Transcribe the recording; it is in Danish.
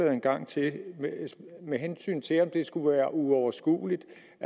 en gang til med hensyn til om det skulle være uoverskueligt